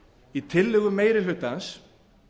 í tillögum meiri hlutans